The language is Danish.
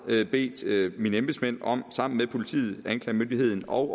jeg bedt mine embedsmænd om sammen med politiet anklagemyndigheden og